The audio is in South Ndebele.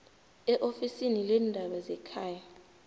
eofisini leendaba zekhaya